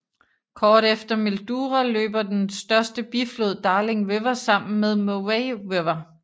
Kort efter Mildura løber den største biflod Darling River sammen med Murray River